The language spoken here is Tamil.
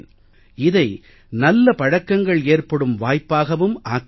இதை நல்ல பழக்கங்கள் ஏற்படும் வாய்ப்பாகவும் ஆக்க முடியும்